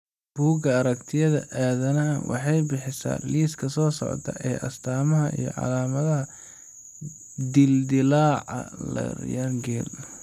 Bugga Aragtiyaha Aadanaha waxay bixisaa liiska soo socda ee astaamaha iyo calaamadaha dildilaaca Laryngeal.